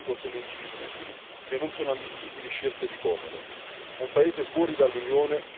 Le quattro libertà del mercato unico sono indivisibili e non sono ammissibili scelte di comodo.